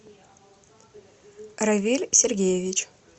равиль сергеевич